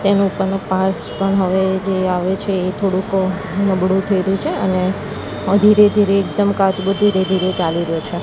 તેનુ ઉપરનું પાર્ટ્સ પણ હવે જે આવે છે એ થોડુક નબળુ થયેલુ છે અને ધીરે ધીરે એકદમ કાચબો ધીરે ધીરે ચાલી રહ્યો છે.